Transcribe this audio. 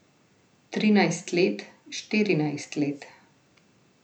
Trinajst let, štirinajst let?